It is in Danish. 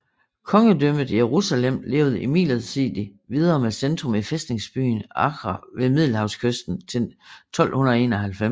Kongedømmet Jerusalem levede imidlertid videre med centrum i fæstningsbyen Acre ved Middelhavskysten til 1291